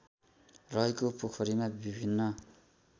रहेको पोखरीमा विभिन्न